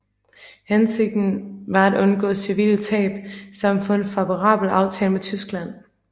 Hensigten var at undgå civile tab samt at få en favorabel aftale med Tyskland